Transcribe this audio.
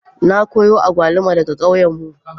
Na kawo agwaluma daga kauyenmu.